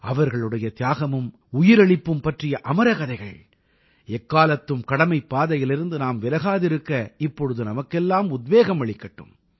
அவர்களுடைய தியாகமும் உயிரளிப்பும் பற்றிய அமரக்கதைகள் எக்காலத்தும் கடமைப்பாதையிலிருந்து நாம் விலகாதிருக்க இப்பொழுது நமக்கெல்லாம் உத்வேகம் அளிக்கட்டும்